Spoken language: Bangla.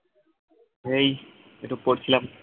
এই একটু পড়ছিলাম